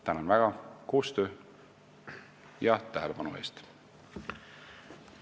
Tänan väga koostöö ja tähelepanu eest!